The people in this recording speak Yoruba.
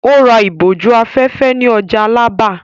Ó ra ìbòjú-afẹ́fẹ́ ní ọjà Alábà.